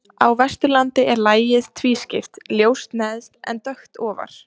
Á Vesturlandi er lagið tvískipt, ljóst neðst en dökkt ofar.